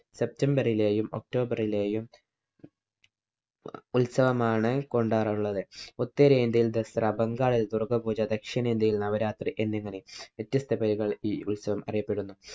september ലെയും october ഇലെയും ഉത്സവമാണ് കൊണ്ടാറുള്ളത്. ഉത്തരേന്ത്യയില്‍ ദസറ, ബംഗാളില്‍ ദുര്‍ഗ്ഗാ പൂജ, ദക്ഷിണേന്ത്യയില്‍ നവരാത്രി എന്നിങ്ങനെ വ്യത്യസ്ത പേരുകളില്‍ ഈ ഉത്സവം അറിയപ്പെടുന്നു.